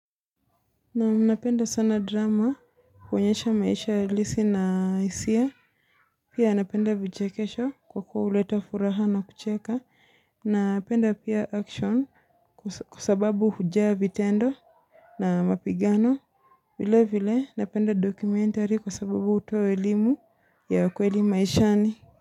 Na napenda sana drama kuonesha maisha ya halisi na isia. Pia napenda vichekesho kwa kuwa huleta furaha na kucheka. Na napenda pia action kusababu hujaa vitendo na mapigano. Vile vile napenda dokumentari kusababu uto elimu ya kweli maishani.